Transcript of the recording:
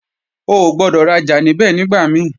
O gbọ́dọ̀ rajà níbẹ̀ nígbà mí